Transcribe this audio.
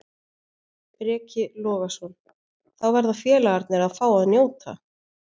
Breki Logason: Þá verða félagarnir að fá að njóta?